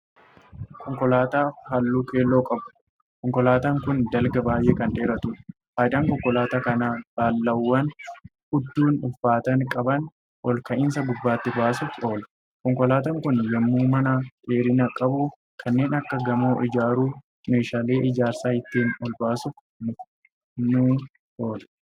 Konkolaataa halluu keelloo qabu. konkolaataan Kuni dalga baay'ee Kan dheeratuudha. faayidaan konkolaataa kanaa balaawwaan hudduun ulfaatina qaban olka'iinsa gubbaatti baasuuf oola. konkolaataan Kuni yemmuu mana dheerina qabu kanneen Akka gamoo ijaarru meeshaaleen ijaarsa ittiin olbaasuuf ni oola.